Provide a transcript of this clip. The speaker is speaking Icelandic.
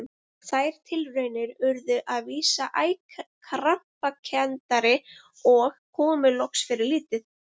Þær tilraunir urðu að vísu æ krampakenndari og komu loks fyrir lítið.